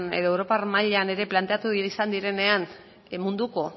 edo europar mailan ere planteatu izan direnean munduko